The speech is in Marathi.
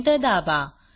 एंटर दाबा